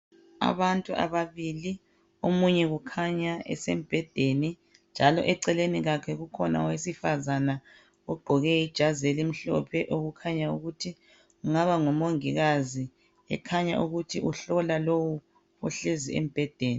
Abantu ababili omunye kukhanya esembhedeni njalo eceleni kwakhe kukhona owesifazane ogqoke ijazi elimhlophe okukhanya ukuthi kungaba ngumongikazi ekhanya ukuthi uhlola lowu ohlezi embhedeni.